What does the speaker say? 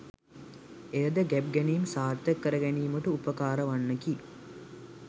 එය ද ගැබ් ගැනීම් සාර්ථක කැර ගැනීමට උපකාරවන්නකි